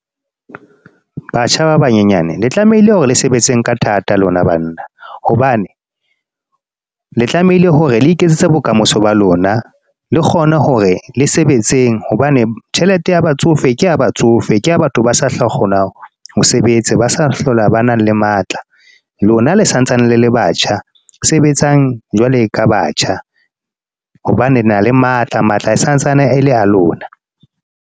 Batjha ba banyenyane, le tlamehile hore le sebetseng ka thata lona banna. Hobane, le tlamehile hore le iketsetse bokamoso ba lona. Le kgone hore le sebetseng. Hobane tjhelete ya batsofe, ke ya batsofe. Ke ya batho ba sa tla kgonang ho sebetsa. Ba sa hlola hobana le matla. Lona le sa ntsane le batjha, sebetsang jwalo ka batjha. Hobane le na le matla, matla e santsane ele a lona.